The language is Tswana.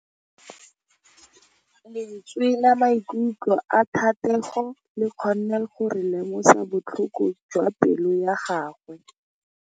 Lentswe la maikutlo a Thategô le kgonne gore re lemosa botlhoko jwa pelô ya gagwe.